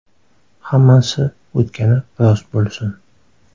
Hammasi o‘tgani rost bo‘lsin.